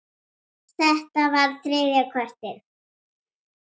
Þetta var þriðja kortið.